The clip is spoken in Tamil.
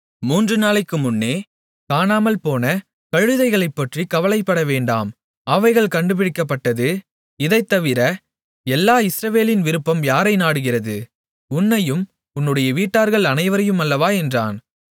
மூன்று நாளைக்கு முன்னே காணாமல்போன கழுதைகளைப்பற்றிக் கவலைப்படவேண்டாம் அவைகள் கண்டுபிடிக்கப்பட்டது இதைத் தவிர எல்லா இஸ்ரவேலின் விருப்பம் யாரை நாடுகிறது உன்னையும் உன்னுடைய வீட்டார்கள் அனைவரையும் அல்லவா என்றான்